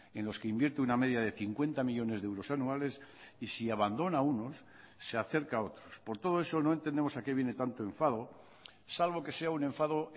en los que invierte una media de cincuenta millónes de euros anuales y si abandona a unos se acerca a otros por todo eso no entendemos a qué viene tanto enfado salvo que sea un enfado